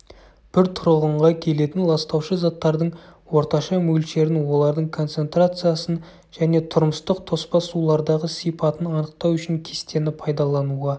бір тұрғынға келетін ластаушы заттардың орташа мөлшерін олардың концентрациясын және тұрмыстық тоспа сулардағы сипатын анықтау үшін кестені пайдалануға